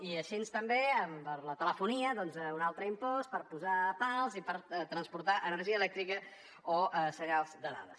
i així també amb la telefonia doncs un altre impost per posar pals i per transportar energia elèctrica o senyals de dades